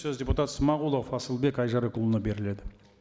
сөз депутат смағұлов асылбек айжарықұлына беріледі